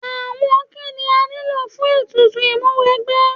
Àwọn kíni a nílò fún ètùtù Ìmúwẹgbẹ́?